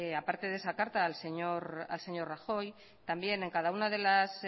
aparte de esa carta al señor rajoy también en cada una de las